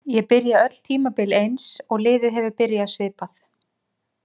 Ég byrja öll tímabil eins og liðið hefur byrjað svipað.